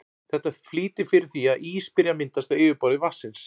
Þetta flýtir fyrir því að ís byrji að myndast á yfirborði vatnsins.